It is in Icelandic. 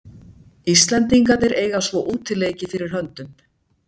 Íslendingarnir eiga svo útileiki fyrir höndum.